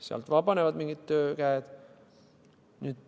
Sealt vabanevad töökäed.